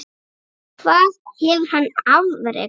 Mostur er eyja við Noreg.